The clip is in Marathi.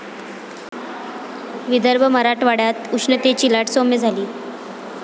विदर्भ, मराठवाड्यात उष्णतेची लाट साैम्य झाली.